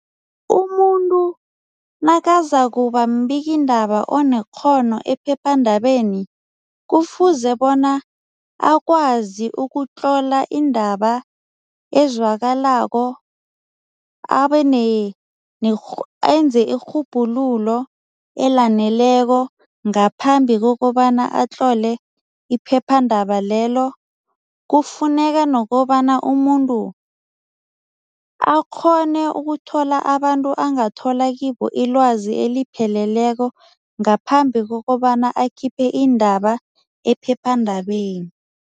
Umuntu nakazakuba mbikindaba onekghono ephephandabeni, kufuze bona akwazi ukutlola indaba ezwakalako enze irhubhululo elaneleko ngaphambi kokobana atlole iphephandaba lelo. Kufuneka nokobana umuntu akghone ukuthola abantu angathola kibo ilwazi elipheleleko, ngaphambi kokobana akhiphe iindaba ephephandabeni.